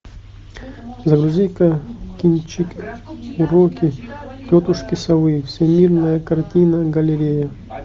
загрузи ка кинчик уроки тетушки совы всемирная картинная галерея